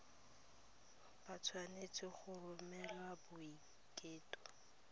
ba tshwanetse go romela boiteko